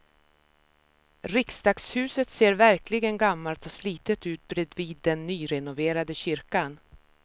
Riksdagshuset ser verkligen gammalt och slitet ut bredvid den nyrenoverade kyrkan.